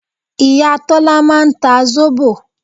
Ìyá Tọ́lá máa ń ta zobo